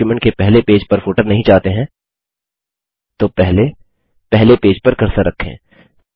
यदि आप डॉक्युमेंट के पहले पेज पर फुटर नहीं चाहते हैं तो पहले पहले पेज पर कर्सर रखें